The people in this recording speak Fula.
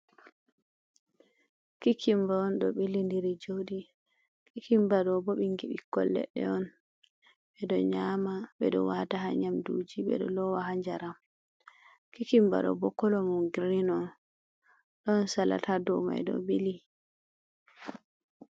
Kikimba on ɗo ɓilindiri ɗo jooɗi. Kikimba ɗo bo ɓikkon leɗɗe on. Ɓe ɗo nyama, ɓe ɗo waata ha nyamduji, ɓe ɗo loowa ha njaram. Kikimba ɗo bo kolo mum girin on, ɗon salat ha dow may ɗo ɓili.